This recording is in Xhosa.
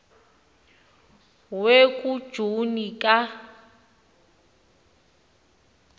we kujuni ka